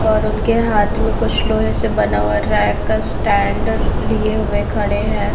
और उनके हाथ मे कुछ लोहे से बना हुआ रैक का स्टैन्ड लिए हुए खड़े है।